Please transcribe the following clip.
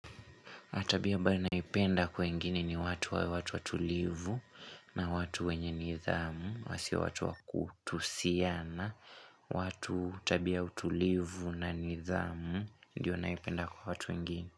Hatabia ambayo naipenda kwengeni ni watu wawe watu watulivu na watu wenye nidhamu, wasio watu wakutusiana. Watu tabia utulivu na nidhamu, ndiyo naipenda kwa watu wengi.